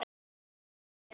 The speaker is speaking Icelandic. Að mega og geta þetta.